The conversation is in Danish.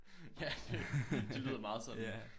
Ja det lyder meget sådan